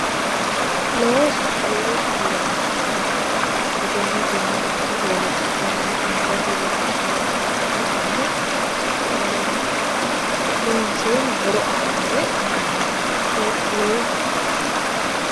Looso, loosoho yaa egenoten iko woliqaten angate loonsayire ika dandaano, loonseena horo aanore baalankani loosoho yinanni